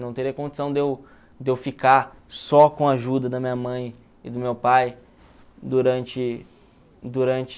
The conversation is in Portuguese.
Não teria condição de eu de eu ficar só com a ajuda da minha mãe e do meu pai durante durante